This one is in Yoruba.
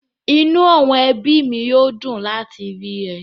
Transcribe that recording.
Inú àwọn ẹbí mi yóò dùn láti rí ẹ